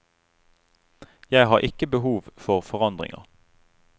Jeg har ikke behov for forandringer.